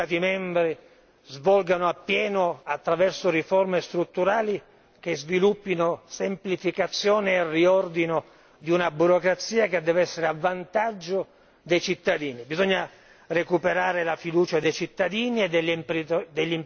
svolgano appieno il loro intervento, attraverso riforme strutturali che sviluppino semplificazione e riordino di una burocrazia che deve essere a vantaggio dei cittadini. Bisogna recuperare la fiducia dei cittadini e degli imprenditori onesti!